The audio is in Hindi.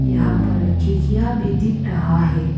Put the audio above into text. यहां पर खिडखिया दिख रहा है।